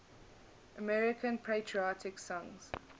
american patriotic songs